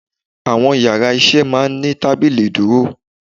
Àwọn yàrá isé máa ní tábìlì ìdúró